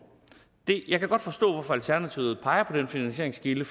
jeg kan godt forstå hvorfor alternativet peger på den finansieringskilde